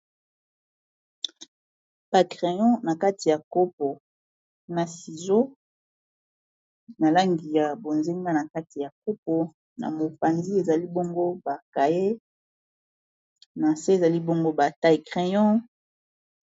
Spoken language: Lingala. Ba crayon na kati ya kopo na sizo na langi ya bozenga na kati ya kopo na mopanzi ezali bongo ba cahier na nse ezali bongo ba taille crayon.